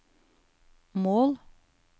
mål